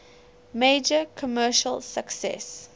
major commercial success